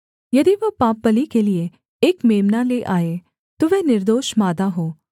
यदि वह पापबलि के लिये एक मेम्ना ले आए तो वह निर्दोष मादा हो